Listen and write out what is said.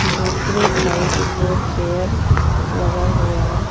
दूसरी साइड दो चेयर लगा हुआ है।